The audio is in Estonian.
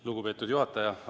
Lugupeetud juhataja!